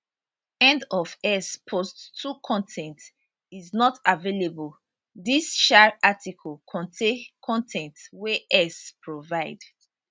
end of x post 2 con ten t is not available dis um article contain con ten t wey x provide